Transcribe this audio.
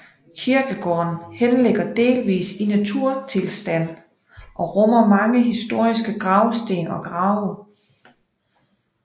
Kirkegården henligger delvis i naturtilstand og rummer mange historiske gravsten og grave